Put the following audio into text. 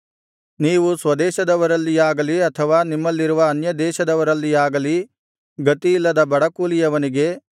ನೀವು ಸ್ವದೇಶದವರಲ್ಲಿಯಾಗಲಿ ಅಥವಾ ನಿಮ್ಮಲ್ಲಿರುವ ಅನ್ಯದೇಶದವರಲ್ಲಿಯಾಗಲಿ ಗತಿಯಿಲ್ಲದ ಬಡ ಕೂಲಿಯವನಿಗೆ